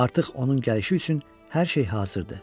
Artıq onun gəlişi üçün hər şey hazırdır.